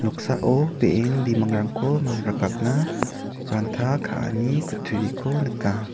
noksao be·en bimangrangko mangrakatna ranta ka·ani kutturiko nika.